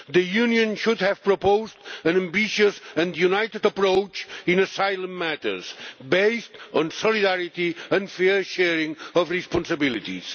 The Union should have proposed an ambitious and united approach in asylum matters based on solidarity and fair sharing of responsibilities.